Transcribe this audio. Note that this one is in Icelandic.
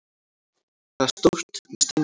Það er stórt, með steingólfi.